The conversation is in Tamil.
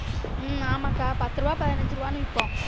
ஹம் ஆமாகா பத்து ரூவா பதினஞ்சு ரூவான்னு விற்போம்